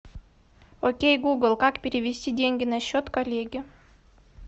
окей гугл как перевести деньги на счет коллеге